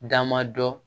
Dama dɔ